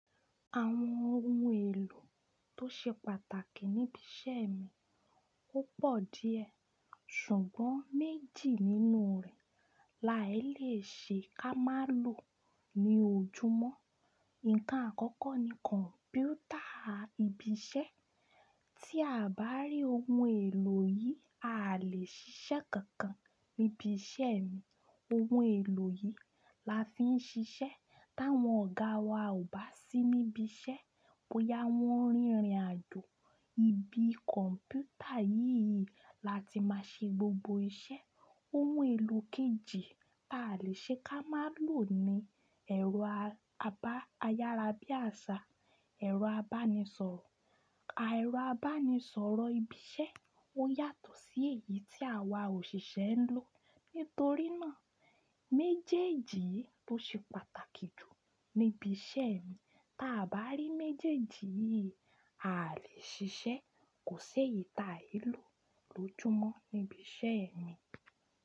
Àwọn ohun èlò tó ṣe pàtàkì níbi iṣẹ́ mi ó pọ̀ díẹ̀, ṣùgbọ́n méjì nínú rẹ̀ là ẹ́ le ṣe ká má lò ní ojúmọ́. Ǹkan àkọ́kọ́ ni kọ̀mpútà ibi iṣẹ́, tí a bá rí ohun èlò yìí, a lè ṣiṣẹ́ kankan níbi iṣẹ́ mi. Ohun èlò yìí la fi ń ṣiṣẹ́ táwọn ọ̀gá wa ò bá sí níbi iṣẹ́, bóyá wọ́n rìnrìn àjò. Ibi kọ̀mpútà yìí la ti máa ṣe gbogbo iṣẹ́. Ohun èlò kejì ta lè ṣe ká má lò ni ẹ̀rọ àbá- ayárabíàṣá, ẹ̀rọ abánisọ̀rọ̀. Ẹ̀rọ abánisọ̀rọ̀ ibi iṣẹ́ ó yàtọ̀ sí èyí tí àwa òṣìṣẹ́ ń lò. Nítorí náà, méjèèjì ló ṣe pàtàkì jù níbi iṣẹ́ mi. Táa bá rí méjèèjì yìí, a lè ṣiṣẹ́. Kò ṣe ìta èlò lójúmọ́ níbi iṣẹ́ mi.